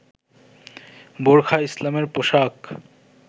বোরখা ইসলামের পোশাক